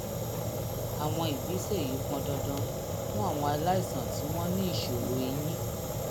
àwọn ìgbésẹ̀ yìí pọn dandan fún àwọn aláìsàn tí wọ́n ní ìṣòro eyín